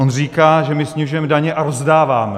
On říká, že my snižujeme daně a rozdáváme.